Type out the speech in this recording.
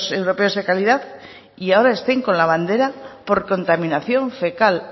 europeos de calidad y ahora estén con la bandera por contaminación fecal